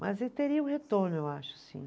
Mas ele teria um retorno, eu acho, sim.